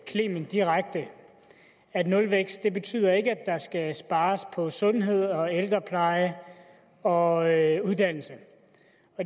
clement direkte at nulvækst ikke betyder at der skal spares på sundhed ældrepleje og uddannelse